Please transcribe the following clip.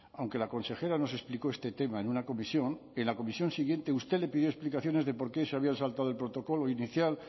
aunque la consejera nos explicó este tema en una comisión en la comisión siguiente usted le pidió explicaciones de por qué se habían saltado el protocolo inicial